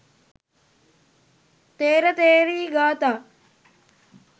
ථේර ථේරී ගාථා